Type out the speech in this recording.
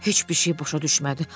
Heç bir şey başa düşmədi.